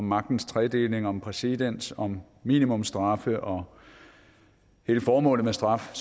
magtens tredeling om præcedens og minimumsstraffe og hele formålet med straf og